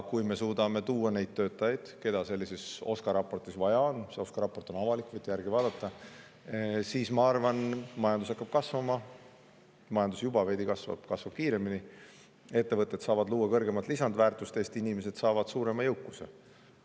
Kui me suudame sisse tuua neid töötajaid, keda OSKA raporti järgi vaja on – see OSKA raport on avalik, võite järgi vaadata –, siis ma arvan, et majandus hakkab kasvama – majandus veidi juba kasvab, aga hakkab kiiremini kasvama –, ettevõtted saavad luua kõrgemat lisandväärtust ja Eesti inimesed saavad suurema jõukuse.